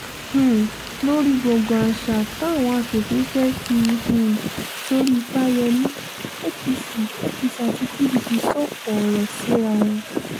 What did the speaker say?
um lórí gbọ̀ngàn àṣà táwọn asòfin fẹ́ẹ́ fi um sórí fáyemí apc apc àti pdp sọ̀kò ọ̀rọ̀ síra wọn